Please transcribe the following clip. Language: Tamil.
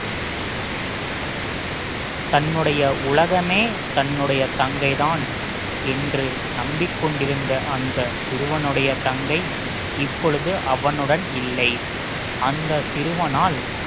தன்னுடைய உலகமே தன்னுடைய தங்கை தான் என்று நம்பிக் கொண்டிருந்த அந்த சிறுவனுடைய தங்கை இப்பொழுது அவனுடன் இல்லை அந்த சிறுவனால்